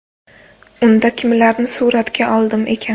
Unda kimlarni suratga oldim ekan?